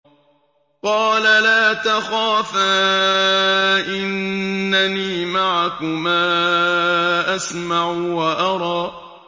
قَالَ لَا تَخَافَا ۖ إِنَّنِي مَعَكُمَا أَسْمَعُ وَأَرَىٰ